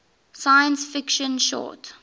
science fiction short